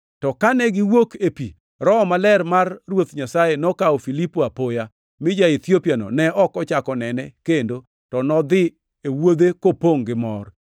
To kane giwuok e pi, Roho Maler mar Ruoth Nyasaye nokawo Filipo apoya, mi ja-Ethiopiano ne ok ochako onene kendo to nodhi e wuodhe kopongʼ gi mor.